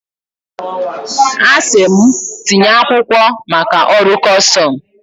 A sị m, tinye akwụkwọ maka ọrụ custọmụ.